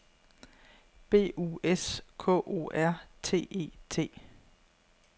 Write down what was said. B U S K O R T E T